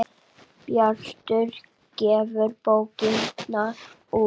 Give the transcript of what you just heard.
Bjartur gefur bókina út.